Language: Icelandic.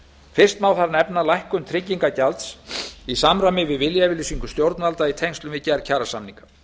fyrst má þar nefna lækkun tryggingagjalds í samræmi við viljayfirlýsingu stjórnvalda í tengslum við gerð kjarasamninga